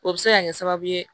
O bɛ se ka kɛ sababu ye